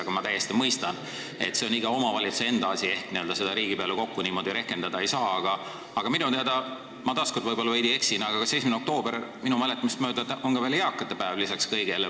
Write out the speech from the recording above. Aga ma mõistan täiesti, et see on iga omavalitsuse enda asi ehk seda kõike niimoodi riigi peale kokku rehkendada ei saa, aga minu teada, minu mäletamist mööda on 1. oktoober veel eakate päev lisaks kõigele.